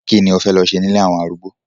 Kí ni o fẹ́ lọ ṣe ní ilé àwọn arúgbó?